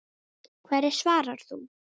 Hverju svarar þú?